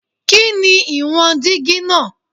Kini iwọn digi naa?